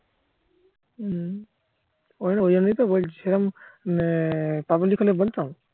হুম ওরে ওই জন্যইতো বলছিলাম public হলে বলতাম